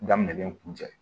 Daminen kun cɛ